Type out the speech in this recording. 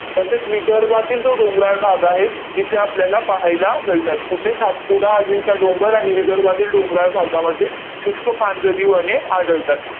तसेच विदर्भातील जो डोंगराळ भाग आहे, इथे आपल्याला पाहायला मिळतात. कुठे? सातपुडा, अजिंठा डोंगर आणि विदर्भातील डोंगराळ भागामध्ये शुष्क पानझडी वने आढळतात.